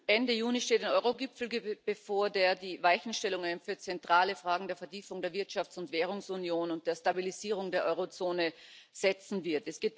Ende Juni steht ein Euro Gipfel bevor, der die Weichenstellungen für zentrale Fragen der Vertiefung der Wirtschafts und Währungsunion und der Stabilisierung der Euro Zone vornehmen wird.